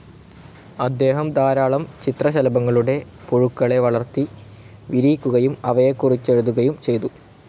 അദ്ദേഹം ധാരാളം ചിത്രശലഭങ്ങളുടെ പുഴുക്കളെ വളർത്തി വിരിയിക്കുകയും അവയെകുറിച്ചെഴുതുകയും ചെയ്തു.